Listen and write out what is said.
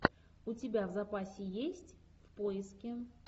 у тебя в запасе есть поиски